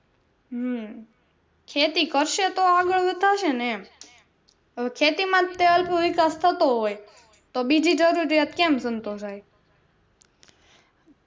હમ ખેતી કરશે તો આગળ વાતાવસે ને એમ હવે ખેતી માં જ અલ્પવિકાસ થતો હોય તો બીજી જરૂરિયાત કેમ સંતોસાય